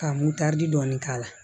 Ka motɛri dɔɔni k'a la